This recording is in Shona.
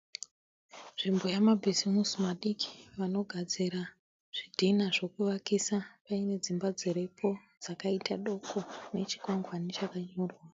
Nzvimbo yamabhizimusi madiki vanogadzira zvidhina zvekuvakisa paine dzimba dziripo dzakaita doko nechikwangwani chakanyorwa